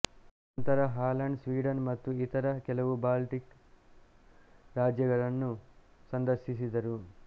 ಅನಂತರ Holland Sweden ಮತ್ತು ಇತರ ಕೆಲವು ಬಾಲ್ಟಿಕ್ ರಾಜ್ಯಗಳನ್ನು ಸಂದರ್ಶಿಸಿದರು